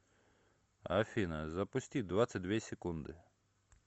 афина запусти двадцать две секунды